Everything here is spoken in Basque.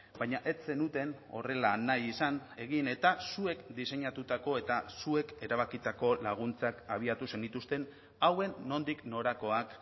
baina ez zenuten horrela nahi izan egin eta zuek diseinatutako eta zuek erabakitako laguntzak abiatu zenituzten hauen nondik norakoak